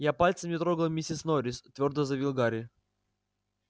я пальцем не трогал миссис норрис твёрдо заявил гарри